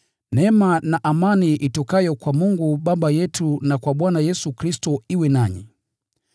Neema na amani itokayo kwa Mungu Baba yetu na kwa Bwana Yesu Kristo iwe nanyi.